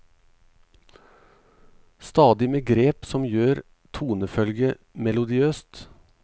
Stadig med grep som gjør tonefølget melodiøst.